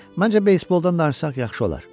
Məncə beysboldan danışsaq yaxşı olar.